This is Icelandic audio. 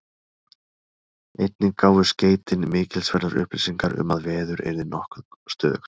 Einnig gáfu skeytin mikilsverðar upplýsingar um, að veður yrði nokkuð stöðugt.